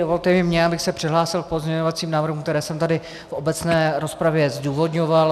Dovolte i mně, abych se přihlásil k pozměňovacím návrhům, které jsem tady v obecné rozpravě zdůvodňoval.